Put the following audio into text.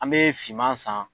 An bɛ finman san.